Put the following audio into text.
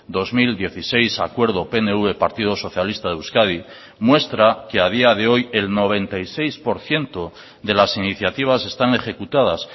dos mil dieciséis acuerdo pnv partido socialista de euskadi muestra que a día de hoy el noventa y seis por ciento de las iniciativas están ejecutadas